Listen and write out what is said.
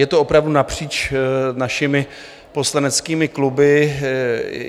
Je to opravdu napříč našimi poslaneckými kluby.